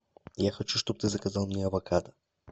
я хочу чтобы ты заказал мне авокадо